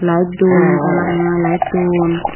light dun ranga ranga lighttun.